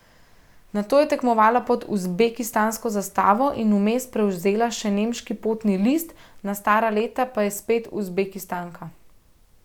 Nato je tekmovala pod uzbekistansko zastavo in vmes prevzela še nemški potni list, na stara leta pa je spet Uzbekistanka.